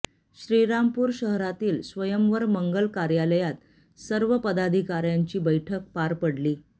श्रीरामपूर शहरातील स्वयंवर मंगल कार्यालयात सर्व पदाधिकाऱ्यांची बैठक पार पडली